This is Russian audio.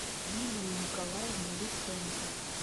юлию николаевну луценко